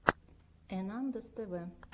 энандэс тв